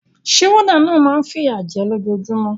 Sé warder náà ma n fìyà je lójojúmó